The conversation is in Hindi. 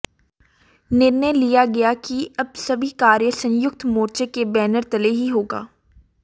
निर्णय लिया गया कि अब सभी कार्य संयुक्त मोर्चे के बैनर तले ही होगा